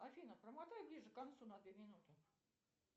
афина промотай ближе к концу на две минуты